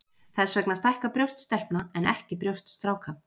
Þess vegna stækka brjóst stelpna en ekki brjóst stráka.